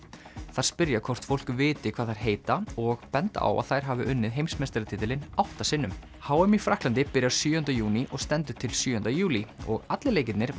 þær spyrja hvort fólk viti hvað þær heita og benda á að þær hafi unnið heimsmeistaratitilinn átta sinnum h m í Frakklandi byrjar sjöunda júní og stendur til sjöunda júlí og allir leikirnir